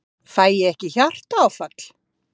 Karen: Fæ ég ekki hjartaáfall?